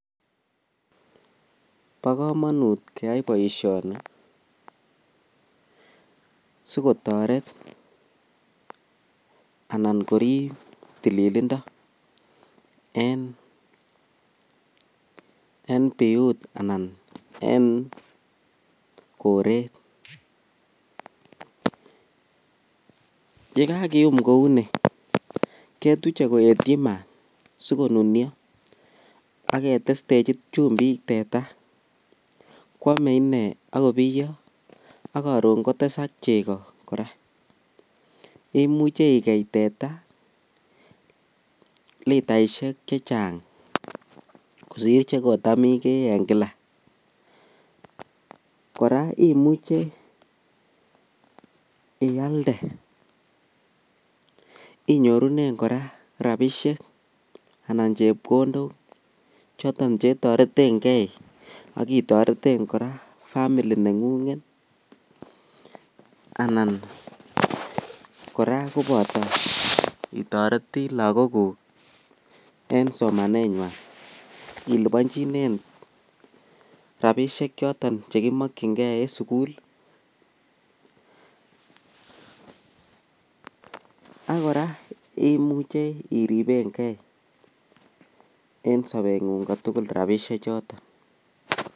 Bokomonut keyai boishoni sikotoret anan korib tililindo en biut anan en koreet, yekakium kouni ketuche koetyi maat sikonunio ak ketestechi chumbik teta kwome inee ak kobiyo ak koron kotesak chekoo kora, imuche ikeii teta litaishek chechang kosir chekotam ikee en kila, kora imuche ialde inyorunen kora rabishek anan chepkondok choton chetoreteng'ei ak itoreten kora family neng'ung'et anan kora koboto itoreti lokokuk en somanenywan ilibonchinen rabishek choton chekimokying'e en sukul, ak kora imuche iribenge en sobeng'ung kotukul rabishe choton.